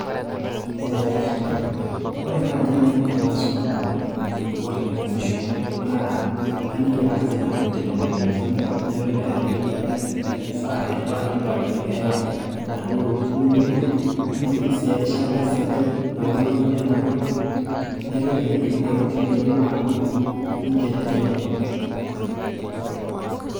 ee ore naaji enaiko tenaisum oltungani eniko teneunisho, naa aliki ang'as eneikoni teneibung'i enchempe, naitoki aliki esaa naifaa nipaliliae inaduoo tokitin niunito, naliki sii erishata sidai naunoi nena tokitin. naitoki aliki intokitin naidim aatubulu ninche tenebo.